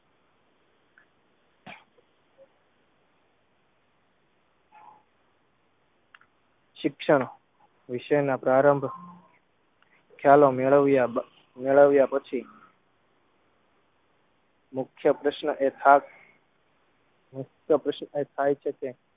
શિક્ષણ વિષયના પ્રારંભ ખ્યાલો મેળવ્યા બા મેળવ્યાપછી મુખ્ય પ્રશ્ન એખાસ મુખ્ય પ્રશ્ન એ થાય છે કે